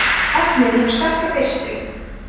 efnið hefur sterka birtu